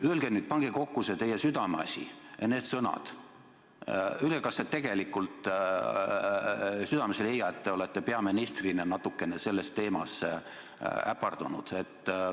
Öelge nüüd, pange kokku see teie südameasi ja need sõnad: öelge, kas te tegelikult südames ei leia, et te olete peaministrina natukene selle teema lahendamisel äpardunud.